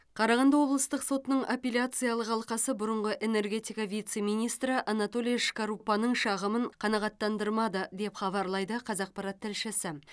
қарағанды облыстық сотының аппеляциялық алқасы бұрынғы энергетика вице министрі анатолий шкарупаның шағымын қанағаттандырмады деп хабарлайды қазақпарат тілшісі